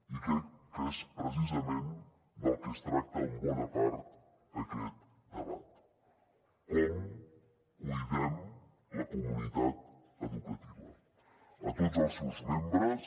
i crec que és precisament del que es tracta en bona part aquest debat com cuidem la comunitat educativa a tots els seus membres